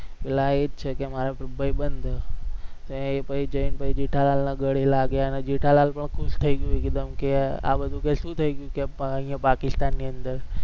એલા એ જ છે કે મારો ભાઈબંધ છે અને જેઠાલાલના ગળે લાગ્યો અને જેઠાલાલ તો ખુશ થઇ ગયો કે આ બધું શું થઇ ગયું કે પાકિસ્તાનની અંદર